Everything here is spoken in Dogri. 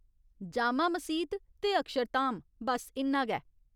जामा मसीत ते अक्षरधाम , बस इन्ना गै।